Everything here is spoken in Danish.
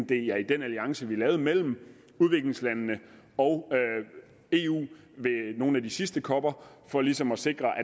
det er i den alliance vi lavede mellem udviklingslandene og eu ved nogle af de sidste coper for ligesom at sikre at